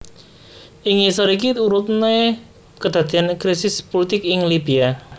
Ing ngisor iki urutne kedadean krisis pulitik ing Libya